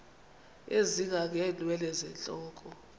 ezinga ngeenwele zentloko